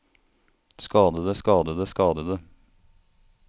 skadede skadede skadede